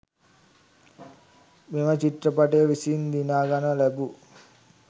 මෙම චිත්‍රපටය විසින් දිනාගනු ලැබූ